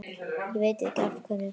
Ég veit ekkert af hverju.